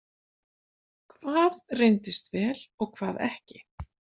Hvað reyndist vel og hvað ekki?